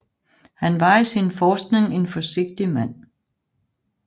Han var i sin forskning en forsigtig mand